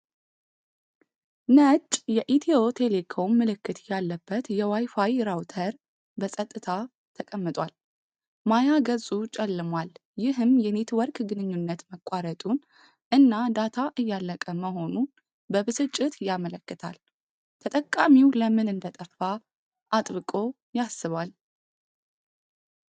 ነጭ የኢትዮ ቴሌኮም ምልክት ያለበት የዋይፋይ ራውተር በጸጥታ ተቀምጧል። ማያ ገጹ ጨልሟል፣ ይህም የኔትወርክ ግንኙነት መቋረጡን እና ዳታ እያለቀ መሆኑን በብስጭት ያመለክታል። ተጠቃሚው ለምን እንደጠፋ አጥብቆ ያስባል።